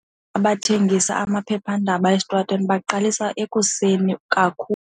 Abathengisa amaphephandaba esitratweni baqalisa ekuseni kakhulu.